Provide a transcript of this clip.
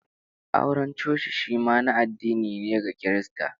Auren coci shi ma na addini ne, ga Kirista